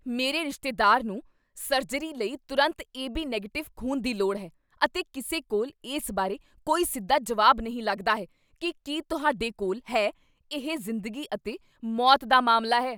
ਮੇਰੇ ਰਿਸ਼ਤੇਦਾਰ ਨੂੰ ਸਰਜਰੀ ਲਈ ਤੁਰੰਤ ਏਬੀ ਨੈਗਟਿਵ ਖ਼ੂਨ ਦੀ ਲੋੜ ਹੈ, ਅਤੇ ਕਿਸੇ ਕੋਲ ਇਸ ਬਾਰੇ ਕੋਈ ਸਿੱਧਾ ਜਵਾਬ ਨਹੀਂ ਲੱਗਦਾ ਹੈ ਕੀ ਕੀ ਤੁਹਾਡੇ ਕੋਲ ਹੈ ਇਹ ਜ਼ਿੰਦਗੀ ਅਤੇ ਮੌਤ ਦਾ ਮਾਮਲਾ ਹੈ!